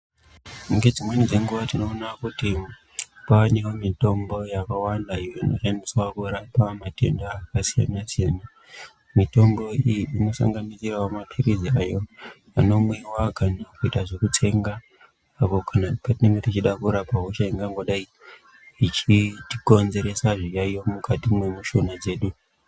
Ngedzimweni dzenguva tinoona kuti kwanevo mitombo yakawanda iyo inoshandiswa kurapa matenda akasiyana-siyana. Mitombo iyi inosanganisiravo maphirizi ayo anomwiva kana kuita zvekutsenga apo patinonga tichida kurapa hosha ingangodai ichitikonzeresa zviyaiyo mukati mwemushuna dzedu.